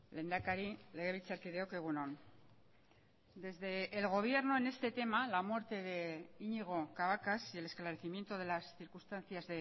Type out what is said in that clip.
lehendakari legebiltzarkideok egun on desde el gobierno en este tema la muerte de iñigo cabacas y el esclarecimiento de las circunstancias